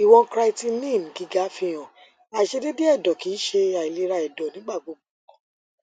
iwọn creatinine giga fihan aiṣedede ẹdọ kii ṣe ailera ẹdọ nigbagbogbo